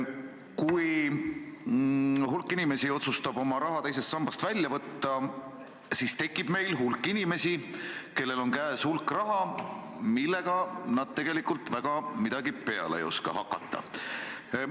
Kui hulk inimesi otsustab oma raha teisest sambast välja võtta, siis tekib meil hulk inimesi, kellel on käes hulk raha, millega nad tegelikult väga midagi peale ei oska hakata.